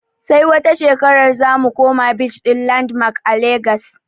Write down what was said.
Sai wata shekarar zamu koma beach ɗin landmark a legas